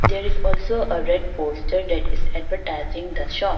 There is also red poster that is advertising the shop.